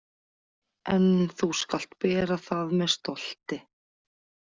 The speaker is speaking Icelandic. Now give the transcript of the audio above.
En þú skalt bera það með stolti.